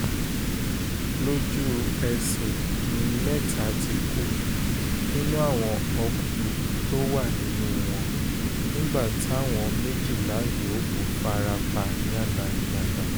lójú-ẹsẹ̀ ni mẹ́ta ti kú nínú àwọn ọkùnrin tó wà nínú wọn nígbà táwọn méjìlá yòókù fara pa yánnayànna